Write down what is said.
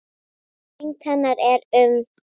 Þyngd hennar er um